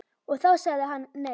Og þá sagði hann nei.